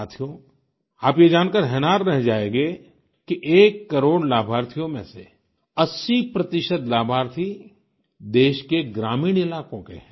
साथियो आप ये जानकर हैरान रह जायेंगे कि एक करोड़ लाभार्थियों में से 80 प्रतिशत लाभार्थी देश के ग्रामीण इलाकों के हैं